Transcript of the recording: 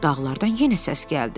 Dağlardan yenə səs gəldi.